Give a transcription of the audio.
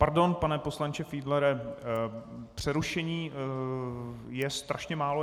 Pardon, pane poslanče Fiedlere, přerušení je strašně málo.